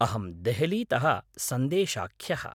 अहं देहलीतः सन्देशाख्यः।